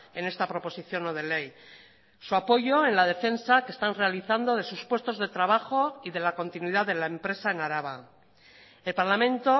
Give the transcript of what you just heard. en esta proposición no de ley su apoyo en la defensa que están realizando de sus puestos de trabajo y de la continuidad de la empresa en araba el parlamento